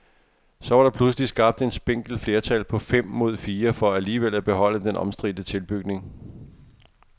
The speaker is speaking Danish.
Så var der pludselig skabt et spinkelt flertal på fem mod fire for alligevel at beholde den omstridte tilbygning.